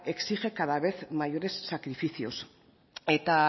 exige cada vez mayores sacrificios eta